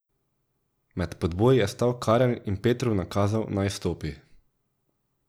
Med podboji je stal Karel in Petru nakazal, naj vstopi.